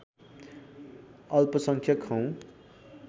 अल्पसंख्यक हौँ